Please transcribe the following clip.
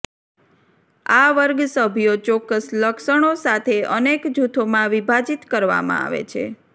આ વર્ગ સભ્યો ચોક્કસ લક્ષણો સાથે અનેક જૂથોમાં વિભાજીત કરવામાં આવે છે